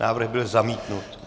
Návrh byl zamítnut.